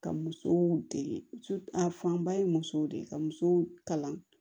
Ka musow dege a fanba ye musow de ye ka musow kalan